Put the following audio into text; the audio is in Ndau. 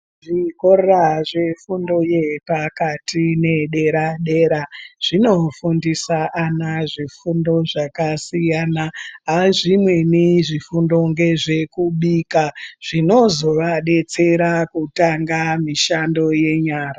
Zvikora zvefundo yepakati nedera dera zvinofundisa ana zvifundo zvakadaro zvakasiyana azvweni zvifundo ndezvekubika zvinozovadetsera kutanga mishando yenyara.